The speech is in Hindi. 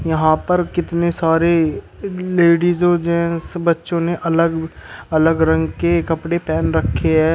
यहां पर कितने सारे लेडिस और जेंस बच्चों ने अलग अलग रंग के कपड़े पहन रखे हैं।